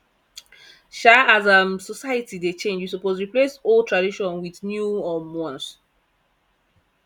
um as um society dey change we suppose replace old tradition wit new um ones